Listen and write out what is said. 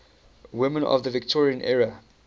women of the victorian era